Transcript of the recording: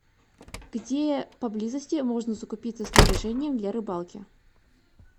где поблизости можно закупиться снаряжением для рыбалки